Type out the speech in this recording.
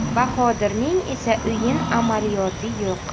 Bahodirning esa o‘yin amaliyoti yo‘q.